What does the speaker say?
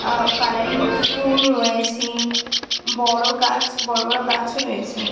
আ colouring ফুল রয়েছেঁ বড়ো গাছ বড়ো বড়ো গাছ রয়েছে ।